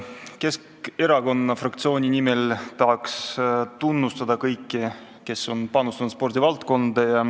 Keskerakonna fraktsiooni nimel tahan tunnustada kõiki, kes on panustanud spordivaldkonda.